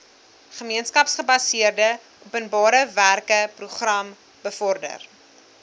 gemeenskapsgebaseerde openbarewerkeprogram bevorder